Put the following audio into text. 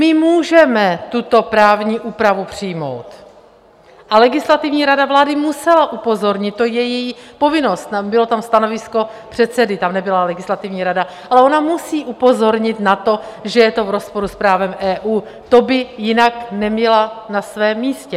My můžeme tuto právní úpravu přijmout a legislativní rada vlády musela upozornit, to je její povinnost, bylo tam stanovisko předsedy, tam nebyla legislativní rada, ale ona musí upozornit na to, že je to v rozporu s právem EU, to by jinak nebyla na svém místě.